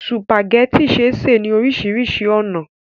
Sùpàgẹ́tì ṣé sè lóríṣiríṣi ọ̀nà.